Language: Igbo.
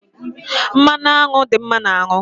Mmanụ anwụ dị mma n'ahụ